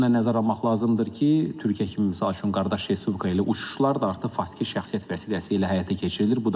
Onu da nəzərə almaq lazımdır ki, Türkiyə kimi misal üçün qardaş respublika ilə uçuşlar da artıq fasikiyə şəxsiyyət vəsiləsi ilə həyata keçirilir.